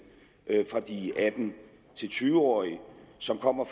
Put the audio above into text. fra de atten til tyve årige som kommer